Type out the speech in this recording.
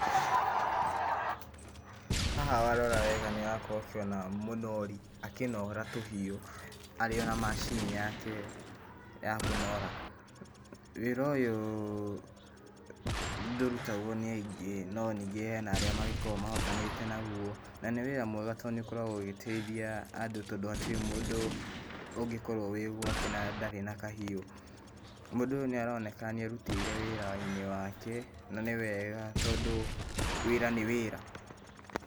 Haha warora wega nĩ ũrakorwo ũkĩona mũnori akĩnora tũhiũ, arĩona macini yake ya kũnora, wĩra ũyũ ndũrutagwo nĩ aingĩ no ningĩ hena arĩa magĩkoragwo mahotanĩte naguo, na nĩ wĩra mwega tondũ nĩ ũkoragwo ũgĩteithia andũ tondũ hatirĩ mũndũ ũngĩkorwo wĩ gwake na ndarĩ na kahiũ, mũndũ ũyũ nĩ aroneka nĩ erutĩire wĩra-inĩ wake na nĩ wega tondũ wĩra nĩ wĩra.